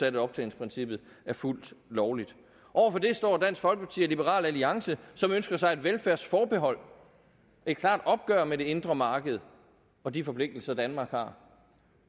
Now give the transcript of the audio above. af optjeningsprincippet er fuldt lovlig over for det står dansk folkeparti og liberal alliance som ønsker sig et velfærdsforbehold et klart opgør med det indre marked og de forpligtelser danmark har